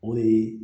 O ye